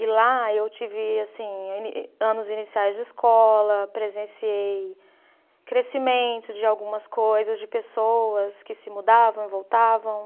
E lá eu tive assim, em anos iniciais de escola, presenciei crescimento de algumas coisas, de pessoas que se mudavam e voltavam.